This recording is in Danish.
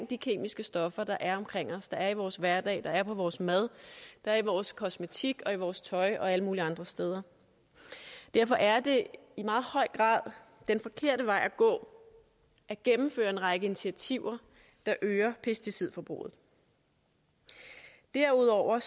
de kemiske stoffer der er omkring os der er i vores hverdag der er i vores mad der er i vores kosmetik og i vores tøj og alle mulige andre steder derfor er det i meget høj grad den forkerte vej at gå at gennemføre en række initiativer der øger pesticidforbruget derudover